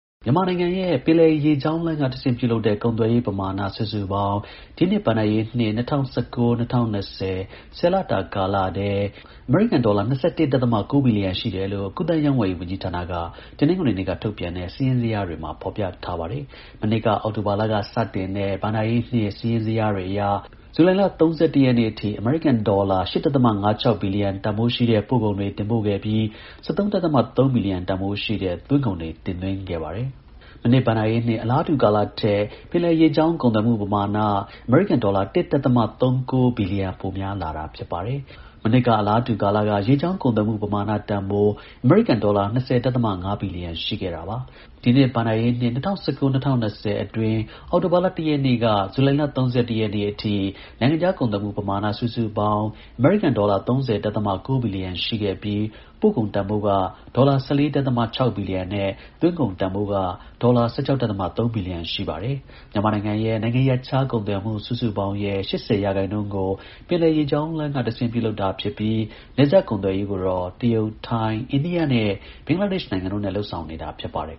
မြန်မာနိုင်ငံရဲ့ ပင်လယ်ရေကြောင်းလမ်းကတဆင့် ပြုလုပ်တဲ့ ကုန်သွယ်ရေး ပမာဏ စုစုပေါင်း ဒီနှစ် ဘဏ္ဍာရေးနှစ် ၂၀၁၉-၂၀၂၀ ၊ ၁၀ လတာထဲ အမေရိကန် ဒေါ်လာ ၂၁.၉ ဘီလီယံရှိတယ်လို့ ကူးသန်း ရောင်းဝယ်ရေး ဝန်ကြီးဌာနက တနင်္ဂနွေနေ့က ထုတ်ပြန်ထဲ့ စာရင်းဇယားတွေမှာ ဖော်ပြထားပါတယ်။ မနှစ်က အောက်တိုဘာလ စတင်တဲ့ ဘဏ္ဍာရေးနှစ် စာရင်းဇယားတွေအရ ဇူလိုင်လ ၃၁ ရက်နေ့အထိ အမေရိကန် ဒေါ်လာ ၈ ဒဿမ ၅၆ ဘီလီယံ တန်ဖိုးရှိတဲ့ ပို့ကုန်တွေ တင်ပို့ခဲ့ပြီး ၁၃. ၃ ဘီလီယံ တန်ဖိုးရှိတဲ့ သွင်းကုန်တွေ တင်သွင်းခဲ့ပါတယ်။ မနှစ် ဘဏ္ဍာရေးနှစ် အလားတူ ကာလထက် ပင်လယ်ရေကြောင်း ကုန်သွယ်မှု ပမာဏ အမေရိကန် ၁.၃၉ ဘီလီယံ ပိုများတာ ဖြစ်ပါတယ်။ မနှစ်က အလားတူ ကာလက ရေကြောင်း ကုန်သွယ်မှု ပမာဏ တန်ဖိုး အမေရိကန် ဒေါ်လာ ၂၀.၅ ဘီလီယံ ရှိခဲ့တာ ပါ။ ဒီနှစ် ဘဏ္ဍာရေးနှစ် ၂၀၁၉-၂၀၂၀ အတွင်း အောက်တိုဘာ ၁ရက်နေ့က ဇူလိုင် ၃၁ ရက်နေ့အထိ နိုင်ငံခြား ကုန်သွယ်မှု ပမာဏ စုစုပေါင်း အမေရိကန် ဒေါ်လာ ၃၀.၉ ဘီလီယံ ရှိခဲ့ပြီး ပို့ကုန်တန်ဖိုးက ဒေါ်လာ ၁၄.၆ ဘီလီယံနဲ့ သွင်းကုန် တန်ဖိုးက ဒေါ်လာ ၁၆.၃ ဘီလီယံ ရှိပါတယ်။ မြန်မာနိုင်ငံရဲ့ နိုင်ငံရပ်ခြား ကုန်သွယ်မှု စုစုပေါင်းရဲ့ ၈၀ ရာခိုင်နှုန်းကို ပင်လယ်ရေကြောင်းက ပြုလုပ်တာဖြစ်ပြီး နယ်စပ်ကုန်သွယ်ရေးကိုတော့ တရုတ်၊ ထိုင်း၊ အိန္ဒိယနဲ့ ဘင်္ဂလားဒေ့ရှ်နိုင်ငံတို့နဲ့ လုပ်ဆောင်နေတာ ဖြစ်ပါတယ်